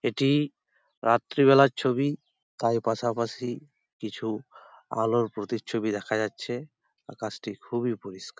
এটি রাত্রেবেলা ছবি তাই পাশাপাশি কিছু আলোর প্রতি ছবি দেখা যাচ্ছে আকাশটি খুবই পরিষ্কার।